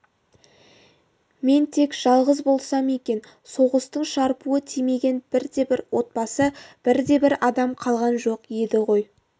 мен тек жалғыз болсам екен соғыстың шарпуы тимеген бірде-бір отбасы бірде-бір адам қалған жоқ еді ғой